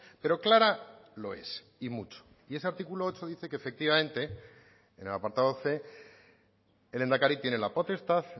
pero clara lo es y mucho y ese artículo ocho dice que efectivamente en el apartado c el lehendakari tiene la potestad